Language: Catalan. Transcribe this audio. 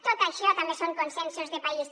tot això també són consensos de país